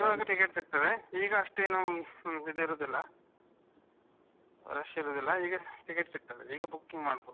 ಇವಾಗ ticket ಸಿಗ್ತದೆ ಈಗ ಅಷ್ಟೇನು ಇದು ಇರುದಿಲ್ಲ rush ಇರುದಿಲ್ಲ ಈಗ ticket ಸಿಗ್ತದೆ. ಈಗ booking ಮಾಡ್ಬಹುದು.